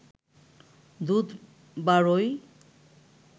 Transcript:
দুধ বারয়